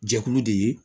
Jɛkulu de ye